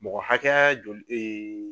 Mɔgɔ hakɛya joli dee